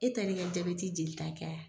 E taa li ka jaabɛti jeli takɛ aa.